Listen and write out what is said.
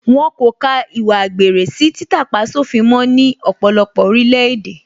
Wọ́n kò ka ìwà àgbèrè sí títà-pá-sófin mó ní ọ̀pọ̀lọpọ̀ orílẹ̀ èdè